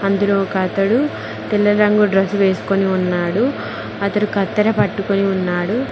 అందులో ఒక అతడు తెల్ల రంగు డ్రస్ వేసుకొని ఉన్నాడు అతడు కత్తెర పట్టుకుని ఉన్నాడు.